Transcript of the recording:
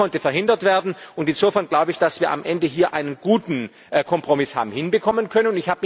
Das konnte verhindert werden, und insofern glaube ich, dass wir hier am Ende einen guten Kompromiss haben hinbekommen können.